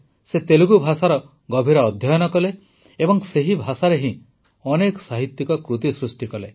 ସେ ତେଲୁଗୁ ଭାଷାର ଗଭୀର ଅଧ୍ୟୟନ କଲେ ଏବଂ ସେହି ଭାଷାରେ ହିଁ ଅନେକ ସାହିତ୍ୟିକ କୃତି ସୃଷ୍ଟି କଲେ